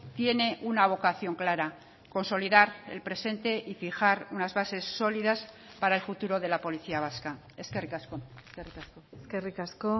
tiene una vocación clara consolidar el presente y fijar unas bases sólidas para el futuro de la policía vasca eskerrik asko eskerrik asko